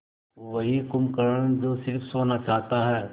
वही कुंभकर्ण जो स़िर्फ सोना चाहता है